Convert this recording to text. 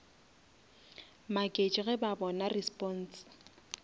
maketše ge ba bona response